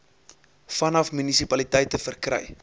vanaf munisipaliteite verkry